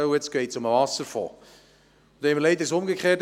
Jetzt geht es um den Wasserfonds, und das Problem ist umgekehrt: